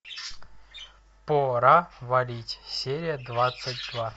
пора валить серия двадцать два